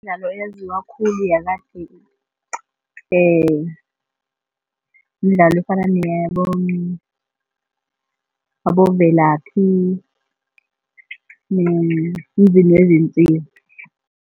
Mdlalo eyaziwa khulu yakade midlalo efana aboVelaphi no-Emzini wezinsizwa.